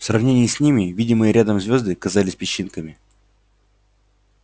в сравнении с ними видимые рядом звёзды казались песчинками